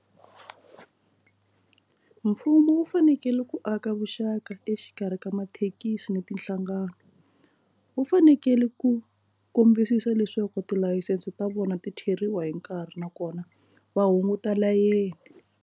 Mfumo wu fanekele ku aka vuxaka exikarhi ka mathekisi ni tinhlangano wu fanekele ku kombisisa leswaku tilayisense ta vona ti theriwa hi nkarhi nakona va hunguta layeni.